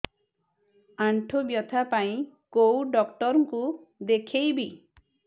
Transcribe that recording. ଆଣ୍ଠୁ ବ୍ୟଥା ପାଇଁ କୋଉ ଡକ୍ଟର ଙ୍କୁ ଦେଖେଇବି